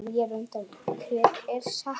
Hver er sekur?